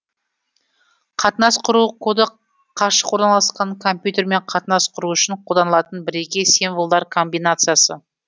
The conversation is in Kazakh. қатынас құру коды қашық орналасқан компьютермен қатынас құру үшін қолданылатын бірегей символдар комбинациясы